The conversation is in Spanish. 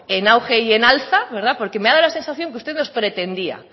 en auge y en alza porque me ha dado la sensación que usted nos pretendía